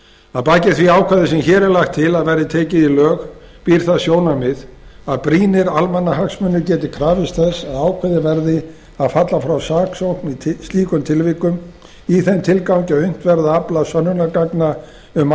að baki því ákvæði sem hér er lagt til að verði tekið í lög býr það sjónarmið að brýnir almannahagsmunir geti krafist þess að ákveðið verði að falla frá saksókn í slíkum tilvikum í þeim tilgangi að unnt verði að afla sönnunargagna um